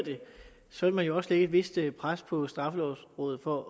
sådan vil man jo også lægge et vist pres på straffelovrådet for